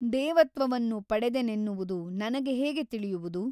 ದೇವತ್ವವನ್ನು ಪಡೆದೆನೆನ್ನುವುದು ನನಗೆ ಹೇಗೆ ತಿಳಿಯುವುದು ?